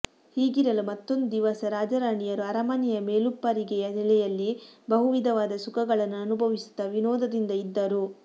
ಹೀಗಿರಲು ಮತ್ತೊಂದು ದಿವಸ ರಾಜರಾಣಿಯರು ಅರಮನೆಯ ಮೇಲುಪ್ಪರಿಗೆಯ ನೆಲೆಯಲ್ಲಿ ಬಹುವಿಧವಾದ ಸುಖಗಳನ್ನು ಅನುಭವಿಸುತ್ತ ವಿನೋದದಿಂದ ಇದ್ದರು